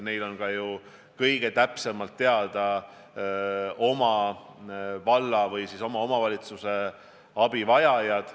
Neile on ka ju kõige täpsemalt teada oma valla, oma omavalitsuse abivajajad.